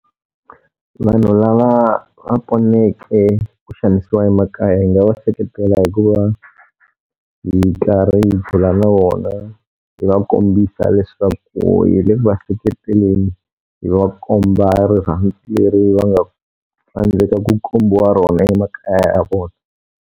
Vanhu lava va poneke ku xanisiwa emakaya hi nga va seketela hi ku va hi karhi hi bula na vona, hi va kombisa leswaku hi le ku va seketeleni. Hi va komba rirhandzu leri va nga tsandzeka ku kombiwa rona emakaya ya vona.